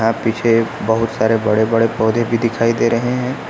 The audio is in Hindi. यहाँ पीछे बहुत सारे बड़े बड़े पौधे भी दिखाई दे रहे हैं।